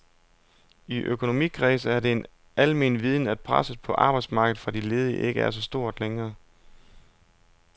I økonomikredse er det almen viden, at presset på arbejdsmarkedet fra de ledige ikke er så stort længere.